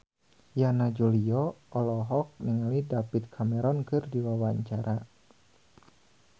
Yana Julio olohok ningali David Cameron keur diwawancara